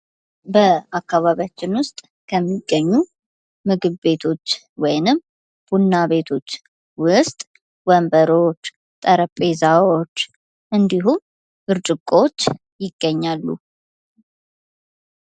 በአካባቢያችን ውስጥ ከሚገኙ ምግብ ቤቶች ወይንም ቡና ቤቶች ውስጥ ወንበሮች፣ ጠረንቤዛዎች እንዲሁም ብርጭቆች ይገኛሉ።